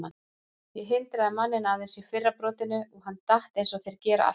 Ég hindraði manninn aðeins í fyrra brotinu og hann datt eins og þeir gera alltaf.